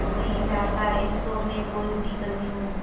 मैं नहीं चाहता इस शो में कोई भी कमी हो